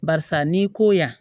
Barisa n'i ko yan